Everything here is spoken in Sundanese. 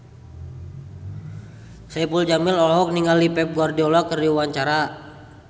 Saipul Jamil olohok ningali Pep Guardiola keur diwawancara